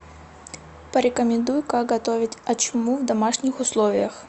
порекомендуй как готовить ачму в домашних условиях